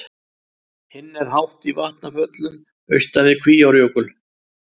hinn er hátt í vatnafjöllum austan við kvíárjökul